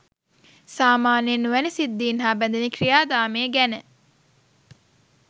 සාමාන්‍යයෙන් ඔවැනි සිද්ධීන් හා බැ‍ඳෙන ක්‍රියාදාමය ගැන